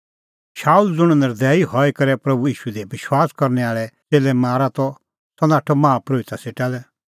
शाऊल ज़ुंण नर्दैई हई करै प्रभू ईशू दी विश्वास करनै आल़ै च़ेल्लै मारा त सह नाठअ माहा परोहिता सेटा लै